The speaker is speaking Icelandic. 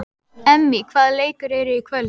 Emmý, hvaða leikir eru í kvöld?